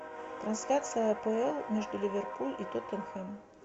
трансляция апл между ливерпуль и тоттенхэм